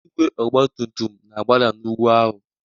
Igwe ọgba tum tum na-agbada n'ugwu ahụ